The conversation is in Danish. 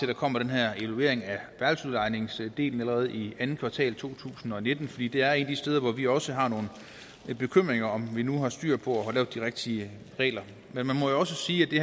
der kommer den her evaluering af værelsesudlejningsdelen allerede i andet kvartal to tusind og nitten fordi det er et af de steder hvor vi også har nogle bekymringer om om vi nu har styr på at lave de rigtige regler men man må også sige